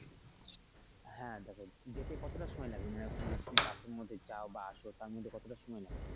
হ্যা দেখো যেতে কতটা সময় লাগে মানে ওখানে যদি তুমি বাসের মধ্যে যাও বা আসো তারমধ্যে কতটা সময় লাগে?